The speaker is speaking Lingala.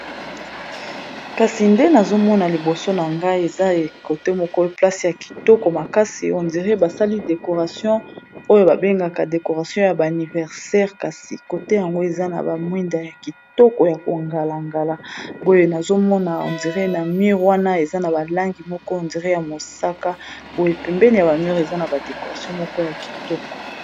Kasi nde nazomona liboso na ngai eza côté moko place ya kitoko makasi on dirait basali décoration ya ba anniversaire kasi côté yango eza na ba mwinda ya kitoko ya kongala-ngala boye nazomona on dirait na mur wana eza na ba langi moko on dirait ya mosaka, boye pembeni ya ba mur eza na ba décoration moko ya kitoko.